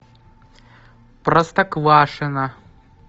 простоквашино